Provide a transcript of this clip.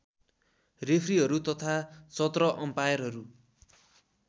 रेफ्रीहरू तथा १७ अम्पायरहरू